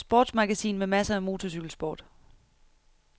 Sportsmagasin med masser af motorcykelsport.